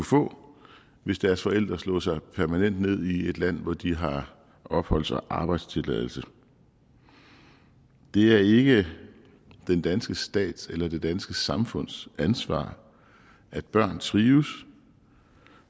få hvis deres forældre slog sig permanent ned i et land hvor de har opholds og arbejdstilladelse det er ikke den danske stat eller det danske samfunds ansvar at børn trives